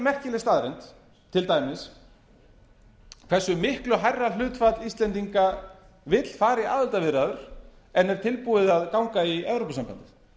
merkileg staðreynd til dæmis hversu miklu hærra hlutfall íslendinga vill fara í aðildarviðræður en er tilbúið að ganga í evrópusambandið